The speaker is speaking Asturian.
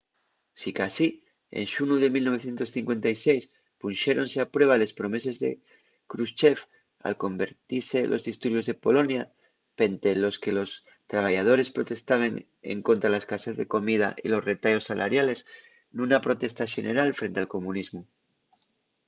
sicasí en xunu de 1956 punxéronse a prueba les promeses de krushchev al convertise los disturbios de polonia pente los que los trabayadores protestaben escontra la escasez de comida y los retayos salariales nuna protesta xeneral frente al comunismu